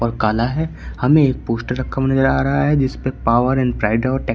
काला है हमें एक पोस्टर रखा हुआ नजर आ रहा है जिसपे पावर एंड प्राइड